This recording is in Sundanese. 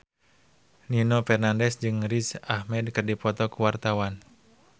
Nino Fernandez jeung Riz Ahmed keur dipoto ku wartawan